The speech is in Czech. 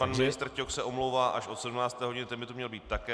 Pan ministr Ťok se omlouvá až od 17 hodiny - ten by tu měl být také.